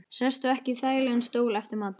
Sestu ekki í þægilegan stól eftir matinn.